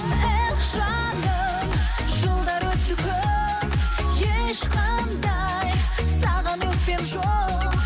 эх жаным жылдар өтті көп ешқандай саған өкпем жоқ